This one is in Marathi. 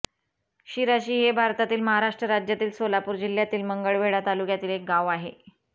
शिराशी हे भारतातील महाराष्ट्र राज्यातील सोलापूर जिल्ह्यातील मंगळवेढा तालुक्यातील एक गाव आहे